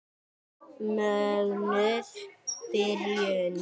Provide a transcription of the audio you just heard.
Mögnuð byrjun.